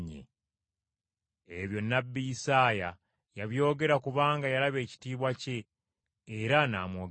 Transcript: Ebyo nnabbi Isaaya yabyogera kubanga yalaba ekitiibwa kye, era n’amwogerako.